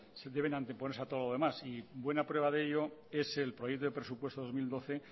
deben anteponerse a todo lo demás y buena prueba de ello es el proyecto de presupuestos dos mil doce